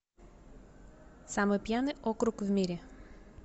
самый пьяный округ в мире